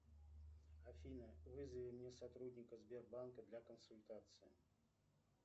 афина вызови мне сотрудника сбербанка для консультации